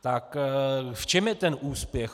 Tak v čem je ten úspěch?